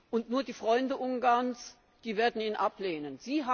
und nur die Freunde Ungarns, die werden ihn ablehnen.